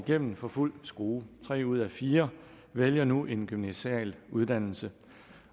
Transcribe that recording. igennem for fuld skrue tre ud af fire vælger nu en gymnasial uddannelse